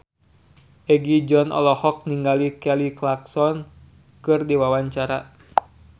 Egi John olohok ningali Kelly Clarkson keur diwawancara